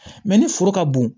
ni foro ka bon